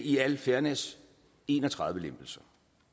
i al fairness en og tredive lempelser